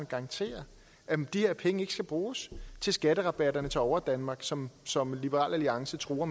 garantere at de her penge ikke skal bruges til skatterabatterne til overdanmark som som liberal alliance truer